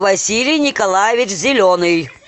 василий николаевич зеленый